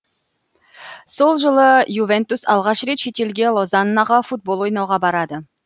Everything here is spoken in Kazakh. сол жылы ювентус алғаш рет шетелге лозаннаға футбол ойнауға барады